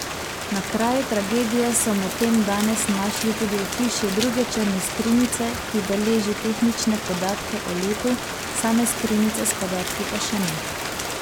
Na kraju tragedije so medtem danes našli tudi ohišje druge črne skrinjice, ki beleži tehnične podatke o letu, same skrinjice s podatki pa še ne.